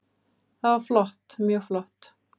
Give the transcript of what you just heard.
Það var flott, mjög flott.